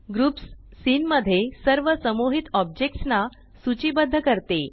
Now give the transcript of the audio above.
groups scene मध्ये सर्व समूहित ऑब्जेक्ट्स ना सूचीबद्ध करते